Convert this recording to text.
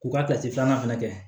K'u ka filanan fɛnɛ kɛ